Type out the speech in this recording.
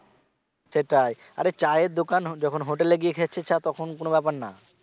সেটাই আর চায়ের দোকান যখন হোটেলে গিয়ে খেয়ে আসছিস চা তখন কোন ব্যাপার না